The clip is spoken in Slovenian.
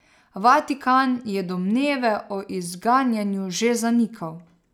Vatikan je domneve o izganjanju že zanikal.